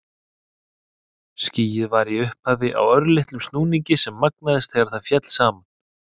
Skýið var í upphafi á örlitlum snúningi sem magnaðist þegar það féll saman.